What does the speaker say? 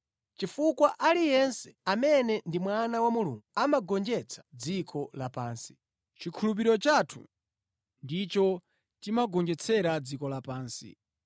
chifukwa aliyense amene ndi mwana wa Mulungu amagonjetsa dziko lapansi. Chikhulupiriro chathu ndicho timagonjetsera dziko lapansi.